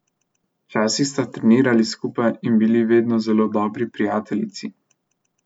Včasih sta trenirali skupaj in bili vedno zelo dobri prijateljici.